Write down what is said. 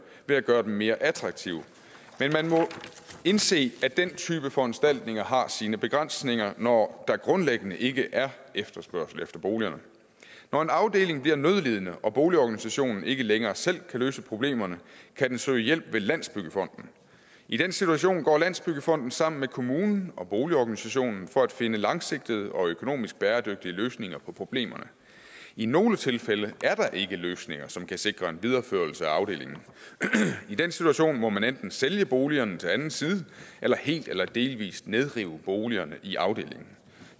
ved at gøre dem mere attraktive men man må indse at den type foranstaltninger har sine begrænsninger når der grundlæggende ikke er efterspørgsel på boligerne når en afdeling bliver nødlidende og boligorganisationen ikke længere selv kan løse problemerne kan den søge hjælp landsbyggefonden i den situation går landsbyggefonden sammen med kommunen og boligorganisationen for at finde langsigtede og økonomisk bæredygtige løsninger på problemerne i nogle tilfælde er der ikke løsninger som kan sikre en videreførelse af afdelingen i den situation må man enten sælge boligerne til anden side eller helt eller delvis nedrive boligerne i afdelingen